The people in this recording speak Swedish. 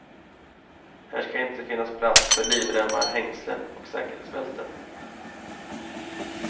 Här ska inte finnas plats för livremmar, hängslen och säkerhetsbälten.